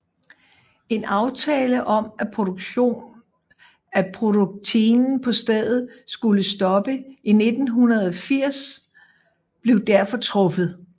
En aftale om at produktinen på stedet skulle stoppe i 1980 blev derfor truffet